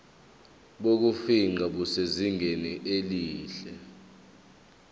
bokufingqa busezingeni elihle